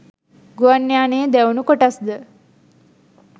ගුවන් යානයේ දැවුණු කොටස්ද